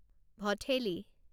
Bhatheli